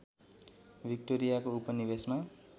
विक्टोरियाको उपनिवेशमा